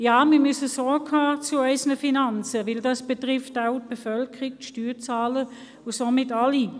Ja, wir müssen Sorge tragen zu unseren Finanzen, weil dies auch die Bevölkerung und die Steuerzahlenden betrifft und somit alle.